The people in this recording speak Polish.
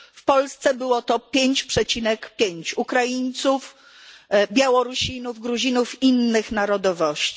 W Polsce było to 5,5 Ukraińców, Białorusinów, Gruzinów i innych narodowości.